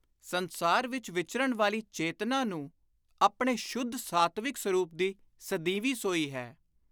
ਸੰਸਾਰ ਵਿਚ ਵਿਚਰਣ ਵਾਲੀ ਚੇਤਨਾ ਨੂੰ ਆਪਣੇ ਸ਼ੁੱਧ ਸਾਤਵਿਕ ਸਰੂਪ ਦੀ ਸਦੀਵੀ ਸੋਈ ਹੈ।